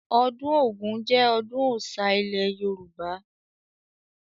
Ọdún Ògún jẹ ọdún Ọ̀oṣà ilẹ̀ Yorùbá